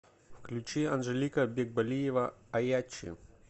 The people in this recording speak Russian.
включи анжелика бекболиева аячы